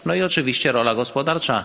No i oczywiście rola gospodarcza.